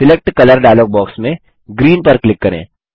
select colour dialogue box में green पर click करें